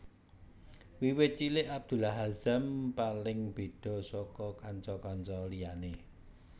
Wiwit cilik Abdullah Azzam paling beda saka kanca kanca liyane